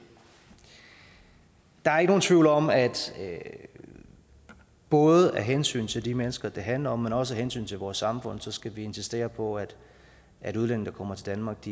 der er ikke nogen tvivl om at både af hensyn til de mennesker det handler om men også af hensyn til vores samfund skal vi insistere på at at udlændinge der kommer til danmark